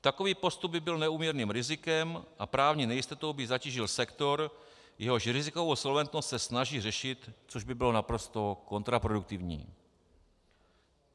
Takový postup by byl neúměrným rizikem a právní nejistotou by zatížil sektor, jehož rizikovou solventnost se snaží řešit, což by bylo naprosto kontraproduktivní.